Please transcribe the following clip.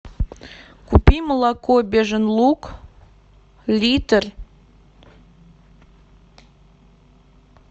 купи молоко бежин луг литр